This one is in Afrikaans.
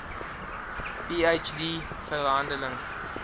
ph d verhandeling